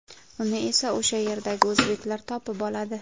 Uni esa o‘sha yerdagi o‘zbeklar topib oladi.